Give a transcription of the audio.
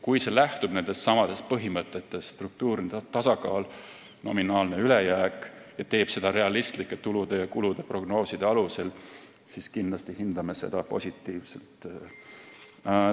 Kui see lähtub nendestsamadest põhimõtetest – struktuurne tasakaal ja nominaalne ülejääk – ning teeb seda realistlike tulude ja kulude prognooside alusel, siis kindlasti hindame seda positiivselt.